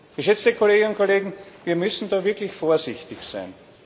Geschätzte Kolleginnen und Kollegen, wir müssen da wirklich vorsichtig sein.